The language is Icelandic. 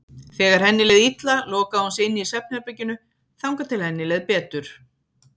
Þegar henni leið illa lokaði hún sig inni í svefnherberginu þangað til henni leið betur.